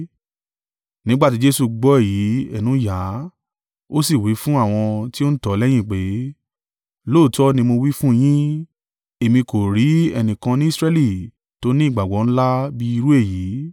Nígbà tí Jesu gbọ́ èyí ẹnu yà á, ó sì wí fún àwọn tí ó ń tọ̀ ọ́ lẹ́yìn pé, “Lóòótọ́ ni mo wí fún yín, èmi kò rí ẹnìkan ni Israẹli tó ní ìgbàgbọ́ ńlá bí irú èyí.